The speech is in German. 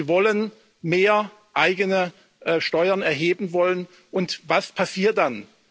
Sie wollen mehr eigene Steuern erheben, und was passiert dann?